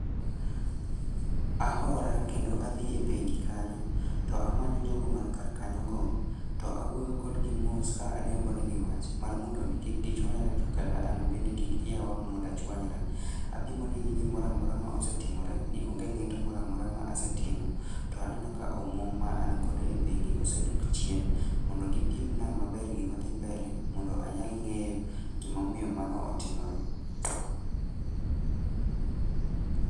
Ahora kendo adhi e bengi kanyo, to amanyo jogo man kar kanyo go, to awuoyo kodgi mos ka adembo negi wach mar mondo mi kik gichwanyre to kara an bende kik iya wang' mond achwanyra. Apimo negi gimoramora ma asetimore, ni onge ng'eto moramaora ma asetimo to aneno ka omuom ma an godo e bengi osedok chien, mondo gipim na maber gima dhi mbele mondo anyal ng'eyo, gimomiyo mano otimore